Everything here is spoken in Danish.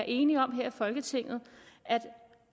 enige om her i folketinget at